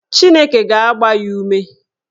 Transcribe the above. Chineke ga-agba ya ume.